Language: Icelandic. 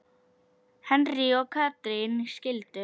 Henry og Katrín skildu.